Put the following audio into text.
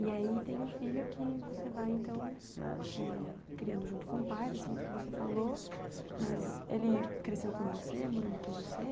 E aí tem o filho que você vai, então, eh criando junto com o pai, desse jeito que você falou, mas ele cresceu com você, morando com você?